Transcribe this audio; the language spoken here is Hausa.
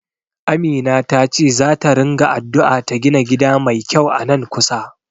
Amina tace zata ringa addu'a ta gina gida mai kyau a nan kusa.